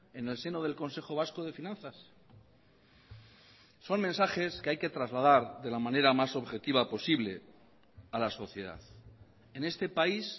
en el seno del consejo vasco de finanzas son mensajes que hay que trasladar de la manera más objetiva posible a la sociedad en este país